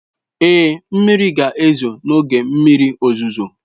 Ee, mmiri ga-ezo n'oge mmiri ozuzo.